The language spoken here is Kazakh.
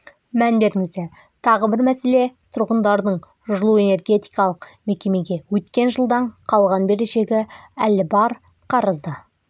мән беріңіздер тағы бір мәселе тұрғындардың жылу-энергетикалық мекемеге өткен жылдан қалған берешегі әлі бар қарызды